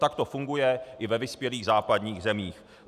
Tak to funguje i ve vyspělých západních zemích.